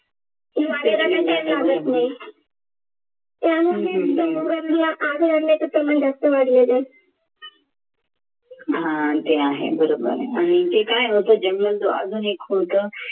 त्यामुळे जंगलातल्या आग लागण्याचे प्रमाण जास्त वाढले आहे हा ते आहे बरोबर आणि ते काय होतं अजून एक होतं